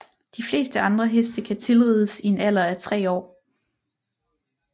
De fleste andre heste kan tilrides i en alder af tre år